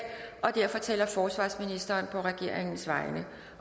og derfor taler forsvarsministeren på regeringens vegne